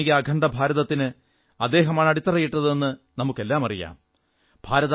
ആധുനിക അഖണ്ഡഭാരതത്തിന് അദ്ദേഹമാണ് അടിത്തറയിട്ടതെന്ന് നമുക്കെല്ലാമറിയാം